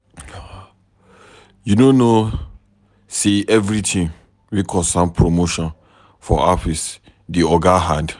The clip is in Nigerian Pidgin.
You no know sey everytin wey concern promotion for office dey oga hand?